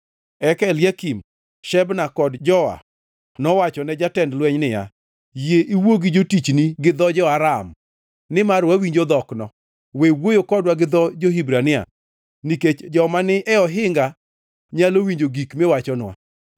Eka Eliakim, Shebna kod Joa nowachone jatend lweny niya, “Yie iwuo gi jotichni gi dho jo-Aram nimar wawinjo dhokno. We wuoyo kodwa gi dho jo-Hibrania nikech joma ni e ohinga nyalo winjo gik miwachonwa.”